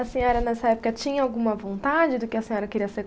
A senhora, nessa época, tinha alguma vontade do que a senhora queria ser?